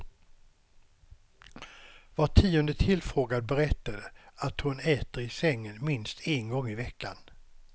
Var tionde tillfrågad berättade att hon äter i sängen minst en gång i veckan.